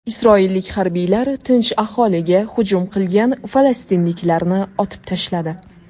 Isroillik harbiylar tinch aholiga hujum qilgan falastinliklarni otib tashladi.